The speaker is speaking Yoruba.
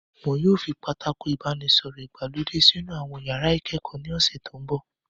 Wọn yóò fi Pátákó ìbánisọ̀rọ̀ ìgbàlódé sínú àwọn iyàrá ìkẹ́kọ̀ọ́ ní ọ̀sẹ̀ tó mbọ̀